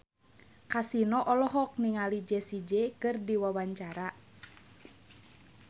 Kasino olohok ningali Jessie J keur diwawancara